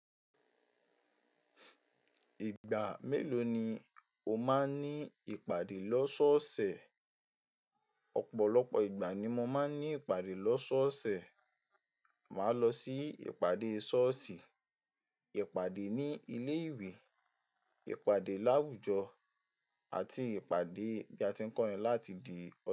Ìgbà mélòó ni o máa ń ní ìpàdé lọ́sọ́ọ̀sẹ̀? Ọ̀pọ̀lọpọ̀ ìgbà ni mo máa ń ní ìpàdé lọ́sọ́ọ̀sẹ̀. Màá lọ sí ìpàdé ṣọ́ọ̀ṣì, ìpàdé ní ilé ìwé, ìpàdé láwùjọ àti ìpàdé bí a ti ń kọ́ ni láti di.